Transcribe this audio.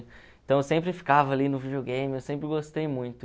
Então eu sempre ficava ali no videogame, eu sempre gostei muito.